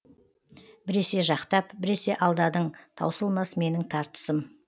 біресе жақтап біресе алдадың таусылмас менің тартысым